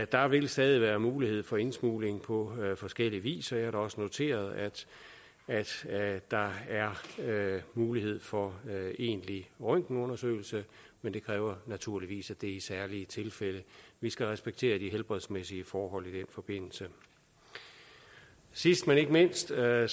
der vil stadig være mulighed for indsmugling på forskellig vis og jeg har også noteret at der er mulighed for egentlig røntgenundersøgelse men det kræver naturligvis at det er i særlige tilfælde vi skal respektere de helbredsmæssige forhold i den forbindelse sidst men ikke mindst er